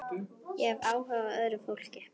Ég hef áhuga á öðru fólki.